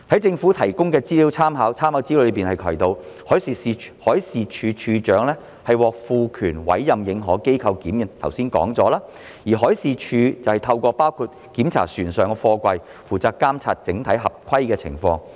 政府提供的參考資料提到，海事處處長獲賦權委任認可機構檢驗貨櫃——這是剛才已經提及的——而海事處透過包括檢查船上貨櫃，負責監察整體合規的情況。